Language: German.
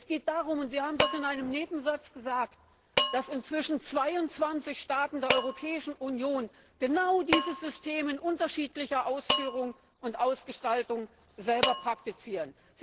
Es geht darum und Sie haben das in einem Nebensatz gesagt dass inzwischen 22 Staaten der Europäischen Union genau dieses System in unterschiedlicher Ausführung und Ausgestaltung selber praktizieren.